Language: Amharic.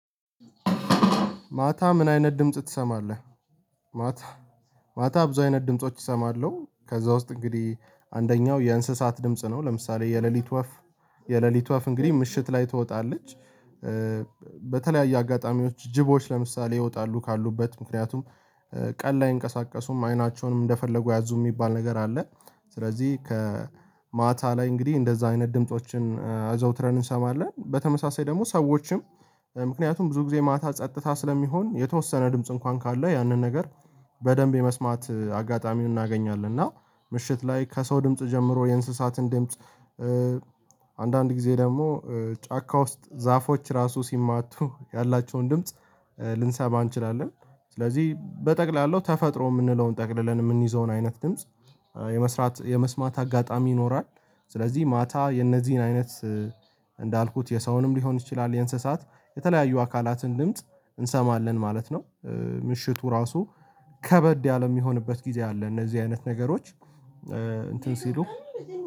ማታ ምን አይነት ድምጽ ትሰማለህ? ማታ ማታ ብዙ አይነት ድምጾች እሰማለሁ ከዛ ውስጥ እንግዲህ አንደኛው የእንስሳት ድምጽ ነው። ለምሳሌ የሌሊት ወፍ የሌሊት ወፍ እንግዲህ ምሽት ላይ ትወጣለች። በተለያዩ አጋጣሚዎች ጅቦች ለምሳሌ ይወጣሉ ካሉበት ምክንያቱም ቀን ላይ አይንቀሳቀሱም አይናቸውንም እንደፈለጉ ያዙ የሚባል ነገር አለ። ስለዚህ ከማታ ላይ እንግዲህ እንደዛ አይነት ድምፆችን አዘውትረን እንሰማለን በተመሳሳይ ደግሞ ሰዎችም። ምክንያቱም ብዙ ጊዜ ማታ ጸጥታ ስለሚሆን የተወሰነ ድምጽ እንኳን ካለው ያንን ነገር በደንብ የመስማት አጋጣሚውን እናገኛለን። እና ምሽት ላይ ከሰው ድምጽ ጀምሮ የእንስሳትን ድምጽ። አንዳንድ ጊዜ ደግሞ ጫካ ውስጥ ዛፎች ራሱ ሲማቱ ያላቸውን ድምጽ ልንሰማ እንችላለን። ስለዚህ በጠቅላላው ተፈጥሮ የምንለውን ጠቅልለን የምንይዘውን አይነት ድምጽ የመስራት የመስማት አጋጣሚ ይኖራል። ስለዚህ ማታ የነዚህን አይነት እንዳልኩት የሰውንም ሊሆን ይችላል የእንስሳት የተለያዩ አካላትን ድምጽ እንሰማለን ማለት ነው። ምሽቱ ራሱ ከበድ ያለ የሚሆንበት ጊዜ አለ እነዚህ አይነት ነገሮች። እንትን ሲሉ